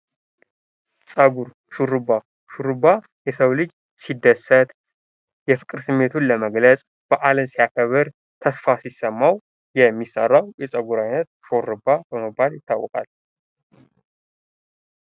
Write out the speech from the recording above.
ፀጉር ሹርባ፡-ሹርባ የሰው ልጅ ሲደሰት፣ የፍቅር ስሜቱን ለመግለፅ ፣በአልን ሲያከብር፣ ተስፋ ሲሰማው የሚሰራው የፀጉር አይነት ሹርባ በመባል ይታወቃል።